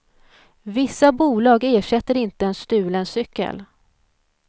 Vissa bolag ersätter inte en stulen cykel.